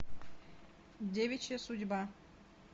девичья судьба